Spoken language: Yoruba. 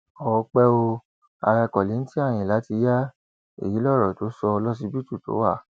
ọpẹ ò ará kollington ayínlá ti ya èyí lọrọ tó sọ lọsibítù tó wà